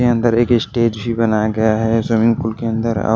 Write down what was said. के अंदर एक स्टेज भी बनाया गया है स्विमिंग पूल के अंदर--